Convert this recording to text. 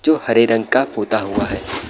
जो हरे रंग का पुता हुआ है।